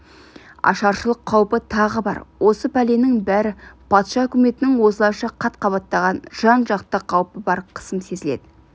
ашаршылық қаупі тағы бар осы пәленің бәрі патша үкіметінен осылайша қат-қабаттаған жан-жақты қаупі бар қысым сезіледі